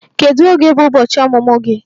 Kedu oge bụ ụbọchị ọmụmụ gị?